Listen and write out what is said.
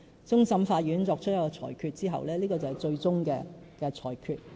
終審法院作出裁決後，這便已經是最終的裁決。